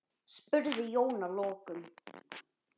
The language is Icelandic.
spurði Jón að lokum.